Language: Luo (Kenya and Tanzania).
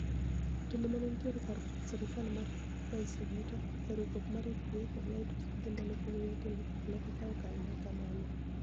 jotelo mani eniitie kar sirikal mar rais Oguta, eriwruok mar FBI kod white house odhimbele kuom nigiyo timbe kaka ni egikaookanig ma kamano.